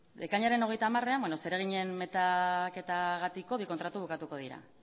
ekainaren hogeita hamarean beno zereginen metaketagatiko bi kontratu bukatuko dira